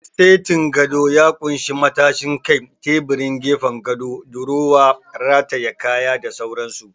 Setin gado ya ƙunshi matashin kai, teburin gefen gado, durowa rataye kaya da sauran su